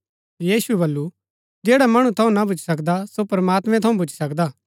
यीशुऐ वलु जैडा मणु थऊँ ना भूच्ची सकदा सो प्रमात्मैं थऊँ भूच्ची सकदा